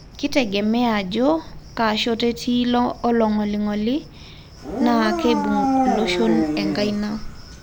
Kitegemea ajo kashoto etii ilo olongolingoli na keibung loshon enkaina.